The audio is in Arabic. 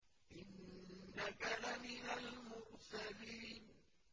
إِنَّكَ لَمِنَ الْمُرْسَلِينَ